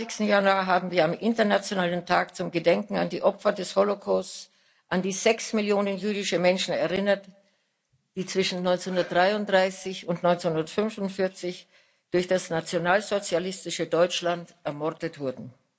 27. Januar haben wir am Internationalen Tag zum Gedenken an die Opfer des Holocausts an die sechs Millionen jüdische Menschen erinnert, die zwischen 1933 und 1945 durch das nationalsozialistische Deutschland ermordet wurden.